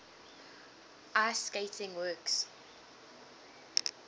ice skating works